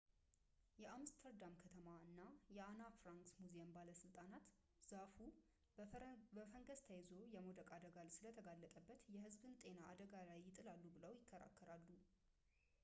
የአምስተርዳም ከተማ እና የአና ፍራንክ ሙዚየም ባለሥልጣናት ዛፉ በፈንገስ ተይዞ የመውደቅ አደጋ ስለተጋረጠበት የህዝብ ጤናን አደጋ ላይ ይጥላሉ ብለው ይከራከራሉ